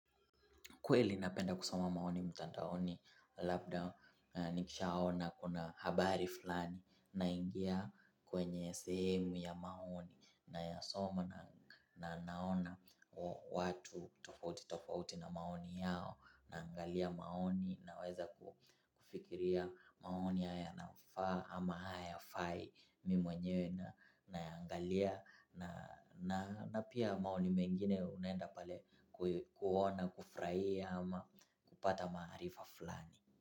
Kweli napenda kusoma maoni mtandaoni labda nikishaona kuna habari fulani naingia kwenye sehemu ya maoni nayasoma na naona watu tofauti tofauti na maoni yao naangalia maoni naweza kufikiria maoni haya yanafaa ama hayafai mimi mwenyewe nayaangalia na na pia maoni mengine unaenda pale kuona kufuraia. Ama kupata maarifa fulani.